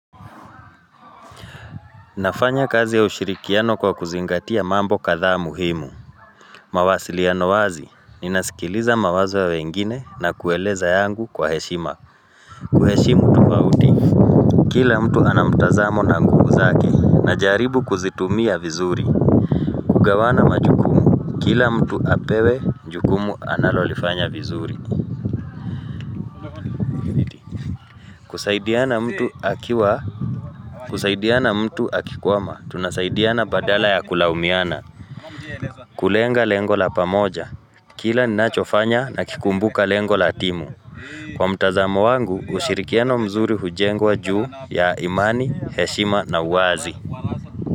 Nafanya kazi ya ushirikiano kwa kuzingatia mambo kadhaa muhimu mawasiliano wazi inasikiliza mawazo ya wengine na kueleza yangu kwa heshima kuheshimu tofauti. Kila mtu anamtazamo na nguvu zake najaribu kuzitumia vizuri kugawana majukumu kila mtu apewe jukumu analolifanya vizuri kusaidiana mtu akiwa kusaidiana mtu akikwama, tunasaidiana badala ya kulaumiana Kulenga lengo la pamoja Kila ninachofanya nakikumbuka lengo la timu. Kwa mtazamo wangu hushirikiano mzuri hujengwa juu ya imani, heshima na uwazi.